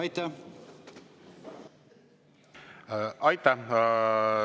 Aitäh!